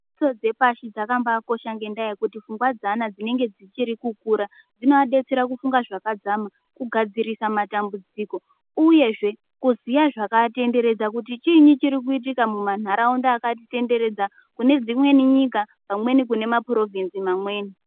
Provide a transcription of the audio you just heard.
Fundiso dzepashi dzakambai kosha ngekuti pfungwa dzevana dzinenge dzichiri kukura dzinovabetsera kufunga zvakadzama kugadzirisa matambudziko uye zvee kuziya zvakatenderedza kuti chiini chiri kuitika muma nharaunda akatitenderedza kune dzimweni nyika vamweni kune mapurovhinzi mamaweni.